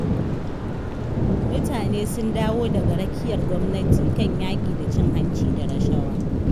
Mutane sun dawo daga rakiyar gwamnati kan yaƙi da cin hanci da rashawa.